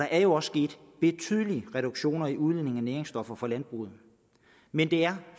er jo også sket betydelige reduktioner i udledningen af næringsstoffer fra landbruget men det er